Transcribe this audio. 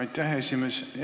Aitäh, esimees!